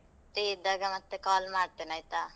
Free ಇದ್ದಾಗ ಮತ್ತೆ call ಮಾಡ್ತೇನೆ ಆಯ್ತಾ.